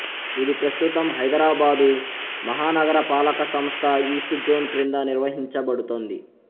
ఇది ప్రస్తుతం హైదరాబాదు మహానగరపాలక సంస్థ ఈస్ట్ జోన్ క్రింద నిర్వహించబడుతోంది